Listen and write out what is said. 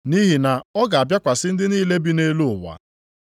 Nʼihi na ọ ga-abịakwasị ndị niile bi nʼelu ụwa.